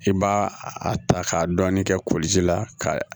I b'a a ta k'a dɔɔnin kɛ ko ji la ka